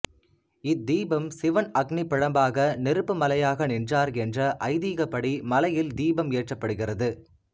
இத்தீபம் சிவன் அக்னி பிழம்பாக நெருப்பு மலையாக நின்றார் என்ற ஐதிகப்படி மலையில் தீபம் ஏற்றப்படுகிறது